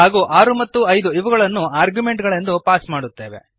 ಹಾಗೂ 6 ಮತ್ತು 5 ಇವುಗಳನ್ನು ಆರ್ಗ್ಯುಮೆಂಟುಗಳೆಂದು ಪಾಸ್ ಮಾಡುತ್ತೇವೆ